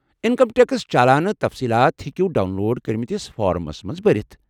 Income tax چالانہٕ تفصیلات ہیٚکو ڈاؤن لوڈ کرِمتِس فارمَس مَنٛز بٔرِتھ ۔